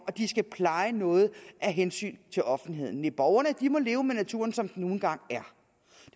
at pleje noget af hensyn til offentligheden nej borgerne må leve med naturen som den nu en gang er